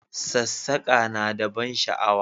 Sassake na da ban sha'awa